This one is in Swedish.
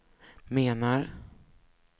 menar